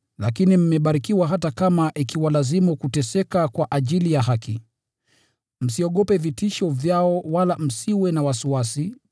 Lakini mmebarikiwa hata kama ikiwalazimu kuteseka kwa ajili ya haki. “Msiogope vitisho vyao, wala msiwe na wasiwasi.”